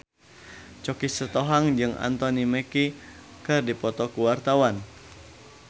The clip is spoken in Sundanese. Choky Sitohang jeung Anthony Mackie keur dipoto ku wartawan